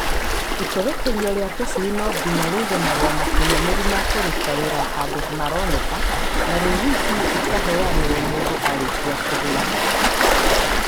Itũrĩkithĩrio rĩa tũcui no nginya rĩige marũa makinyanĩrũ makũruta wĩra hando maroneka na rĩciti ĩkaheanagwo mũndũ arĩkia kũgũra.